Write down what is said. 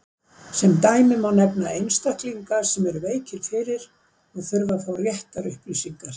Sem dæmi má nefna einstaklinga sem eru veikir fyrir og þurfa að fá réttar upplýsingar.